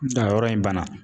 a yɔrɔ in banna.